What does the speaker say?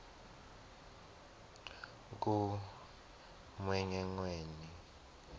kumgwengweni